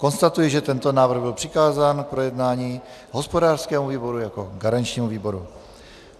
Konstatuji, že tento návrh byl přikázán k projednání hospodářskému výboru jako garančnímu výboru.